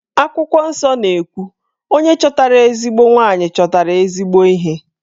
Akwụkwọ nsọ na-ekwu 'Onye chọtara ezigbo nwanyị, chọtara ezigbo ihe'.